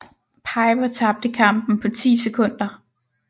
Piper tabte kampen på 10 sekunder